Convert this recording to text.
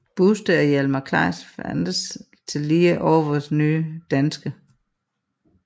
Buste af Hjalmar Kleis fandtes tidligere hos Nye Danske